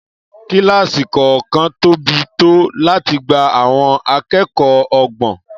Kílásì kọ̀ọ̀kan tóbi tó láti gba àwọn akẹ́kọ̀ọ́ ọgbọ̀n